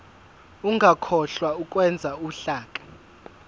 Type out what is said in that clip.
ungakhohlwa ukwenza uhlaka